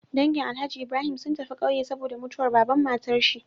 Dangi alhaji Ibrahim sun tafi ƙauye saboda mutuwar baban matar shi